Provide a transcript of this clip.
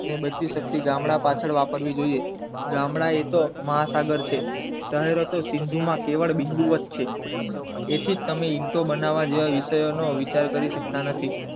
અને બધી શક્તિ ગામડા પાછળ વાપરીવી જોયે ગામડા એ તો મહાસાગર છે શહેરો તો સિંધુ માં કેવળ બિન્ધુ વત છે તેથી જ તમે ઈંટો બનાવ જેવા વિષયો નો વિચાર કરી શક્તા નથી.